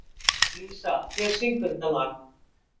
Lísa, hver syngur þetta lag?